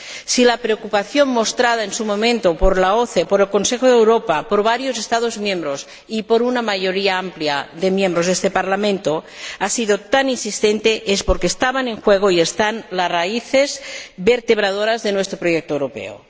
Si la preocupación mostrada en su momento por la OSCE, por el Consejo de Europa, por varios Estados miembros y por una mayoría amplia de miembros de este Parlamento ha sido tan insistente es porque estaban en juego —y están— las raíces vertebradoras de nuestro proyecto europeo.